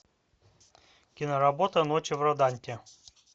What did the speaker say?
киноработа ночи в роданте